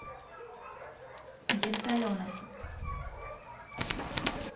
денталенок